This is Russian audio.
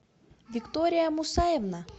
виктория мусаевна